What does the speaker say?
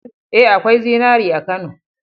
Ee, akwai zinari a Kano.